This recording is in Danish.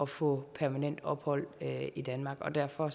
få permanent ophold i danmark og derfor